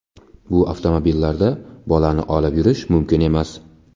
Bu avtomobillarda bolani olib yurish mumkin emas.